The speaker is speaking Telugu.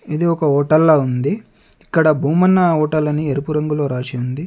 ఇది ఒక హోటల్లా ఉంది. ఇక్కడ భూమన్న హోటల్ అని ఎరుపు రంగులో రాసి ఉంది.